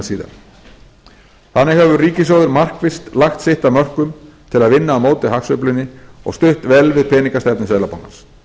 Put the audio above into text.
síðar þannig hefur ríkissjóður markvisst lagt sitt af mörkum til að vinna á móti hagsveiflunni og stutt vel við peningastefnu seðlabankans